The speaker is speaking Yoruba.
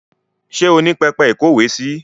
Ṣé o ní pẹpẹ ìkówèésí?